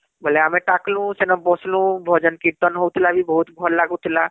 ବୋଇଲେ ଆମେ ଟାକଳୁ ସେନ ବସଲୁ ଭଜନ କୀର୍ତନ ହଉଥିଲା ବି ବହୁତ ଭଲ ଲାଗୁଥିଲା